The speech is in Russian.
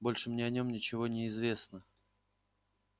больше мне о нем ничего не известно